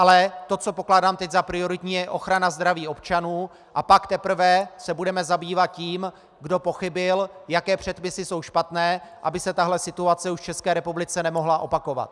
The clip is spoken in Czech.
Ale to, co pokládám teď za prioritní, je ochrana zdraví občanů, a pak teprve se budeme zabývat tím, kdo pochybil, jaké předpisy jsou špatné, aby se tahle situace už v České republice nemohla opakovat.